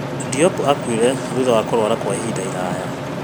Diop akuire thutha wa kũrwara kwa ihinda iraya